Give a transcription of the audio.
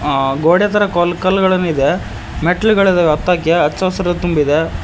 ಆ ಗೋಡ ತರ ಕಲ್ ಕಲ್ಲುಗಳನ್ನು ಇದೆ ಮೆಟ್ಟಿಲುಗಳಿವೆ ಹತ್ತಲಿಕ್ಕೆ ಅಚ್ಚ ಹಸಿರಿನಿಂದ ತುಂಬಿದೆ.